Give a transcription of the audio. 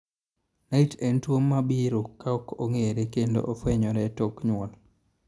Nait en tuo mabiro ka ok ong'ere kendo ofwenyore tok nyuol.